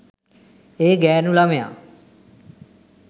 ඒ ගෑනු ලමයා